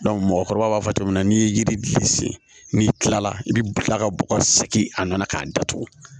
mɔgɔkɔrɔba b'a fɔ cogo min na n'i ye yiri de sen n'i kila la i bi kila ka bɔgɔ segin a nana k'a datugu